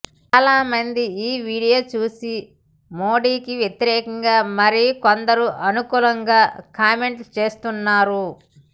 చాలామంది ఈ వీడియో చూసి మోడీకి వ్యతిరేకంగా మరి కొందరు అనుకూలంగా కామెంట్ చేస్తున్నారు